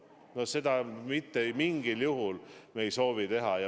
No seda me mitte mingil juhul ei soovi.